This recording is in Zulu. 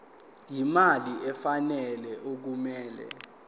imali efanele okumele